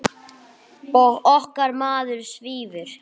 Og okkar maður svífur.